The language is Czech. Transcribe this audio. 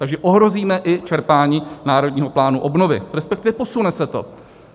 Takže ohrozíme i čerpání Národního plánu obnovy, respektive posune se to.